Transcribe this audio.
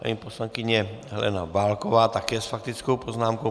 Paní poslankyně Helena Válková také s faktickou poznámkou.